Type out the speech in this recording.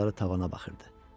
Ovucları tavana baxırdı.